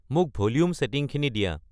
মোক ভলিউম ছেটিংখিনি দিয়া